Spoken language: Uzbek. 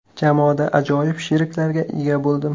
Jamoada ajoyib sheriklarga ega bo‘ldim.